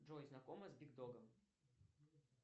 джой знакома с биг догом